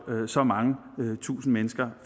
så mange tusinde mennesker